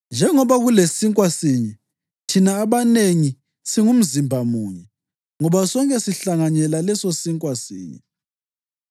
Njengoba kulesinkwa sinye, thina abanengi, singumzimba munye, ngoba sonke sihlanganyela lesosinkwa sinye.